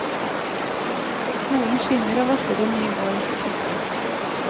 Solen skinner og varsler en ny vår. punktum